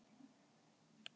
Hann var myrkur í máli.